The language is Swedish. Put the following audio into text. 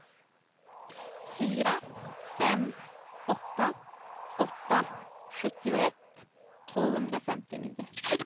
fyra fem åtta åtta sjuttioett tvåhundrafemtionio